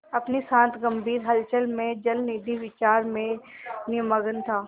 अपनी शांत गंभीर हलचल में जलनिधि विचार में निमग्न था